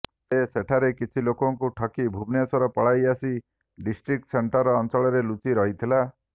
ସେ ସେଠାକାର କିଛି ଲୋକଙ୍କୁ ଠକି ଭୁବନେଶ୍ୱର ପଳାଇ ଆସି ଡିଷ୍ଟ୍ରିକ୍ ସେଣ୍ଟର୍ ଅଞ୍ଚଳରେ ଲୁଚି ରହିଥିଲା